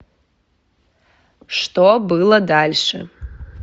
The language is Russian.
что было дальше